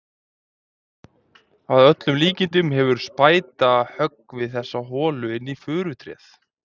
Að öllum líkindum hefur spæta höggvið þessa holu inn í furutréð.